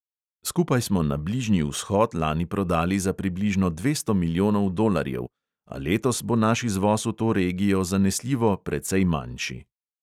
Skupaj smo na bližnji vzhod lani prodali za približno dvesto milijonov dolarjev, a letos bo naš izvoz v to regijo zanesljivo precej manjši.